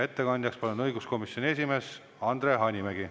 Ettekandjaks palun õiguskomisjoni esimehe Andre Hanimägi.